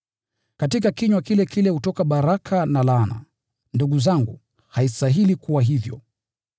Katika kinywa kile kile hutoka baraka na laana. Ndugu zangu, haistahili kuwa hivyo.